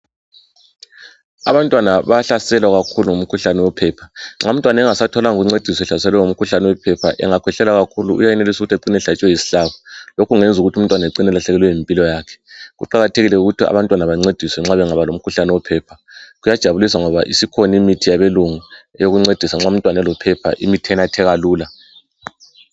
Abantwana bayahlaselwa kakhulu ngumkhuhlane wephepha nxa umntwana engasatholanga ukuncediswa ehlaselwe ngumkhuhlane owephepha engakhwehlela kakhulu uyayenelisa ukuthi acine esehlatshwe yisihlabo. Lokhu kuyenza ukuthi umntwana acine elahlekelwe yimpilo yakhe. kuqakathekile ukuthi abantwana bancediswe nxa bangaba lomkhuhlane wephepha kuyajabulisa ngoba isikhona imithi yabelungu ezokuncedisa nxa umntwana elophepha enatheka kalula.